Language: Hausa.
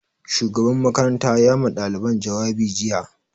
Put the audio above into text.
Shugaban makaranta ya ma ɗaliban jawabi jiya